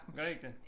Gør I ikke det?